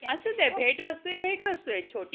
असुंदे भेटवस्तू ही भेटवस्तू आहे छोटी